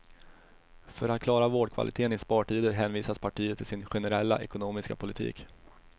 För att klara vårdkvalitén i spartider hänvisar partiet till sin generella ekonomiska politik.